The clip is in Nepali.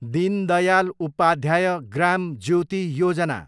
दीन दयाल उपाध्याय ग्राम ज्योति योजना